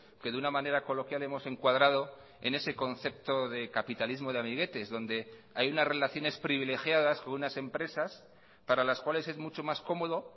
que de una manera coloquial hemos encuadrado en ese concepto de capitalismo de amiguetes donde hay unas relaciones privilegiadas con unas empresas para las cuales es mucho más cómodo